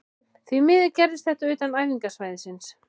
Því miður gerðist þetta utan æfingasvæðisins.